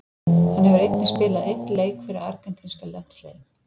Hann hefur einnig spilað einn leik fyrir argentínska landsliðið.